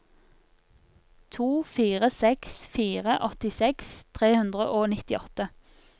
to fire seks fire åttiseks tre hundre og nittiåtte